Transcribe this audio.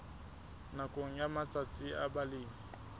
nakong ya matsatsi a balemi